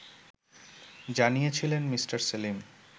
জানিয়েছিলেন মি. সেলিম